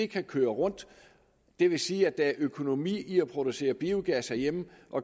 kan køre rundt det vil sige at der er økonomi i at producere biogas herhjemme